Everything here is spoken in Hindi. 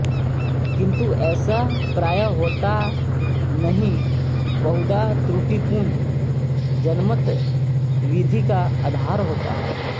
किंतु ऐसा प्राय होता नहीं बहुधा त्रुटिपूर्ण जनमत विधि का आधार होता है